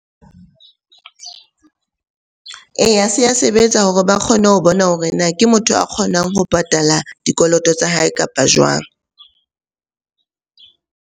Eya, se a sebetsa hore ba kgone ho bona hore na ke motho a kgonang ho patala dikoloto tsa hae kapa jwang?